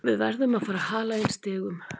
Við verðum að fara að hala inn stigum.